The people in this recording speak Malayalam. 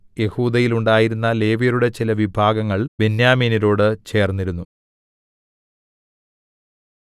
യെഹൂദയിൽ ഉണ്ടായിരുന്ന ലേവ്യരുടെ ചില വിഭാഗങ്ങൾ ബെന്യാമീനോട് ചേർന്നിരുന്നു